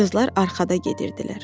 Qızlar arxada gedirdilər.